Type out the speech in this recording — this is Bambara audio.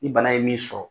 Ni bana ye min sɔrɔ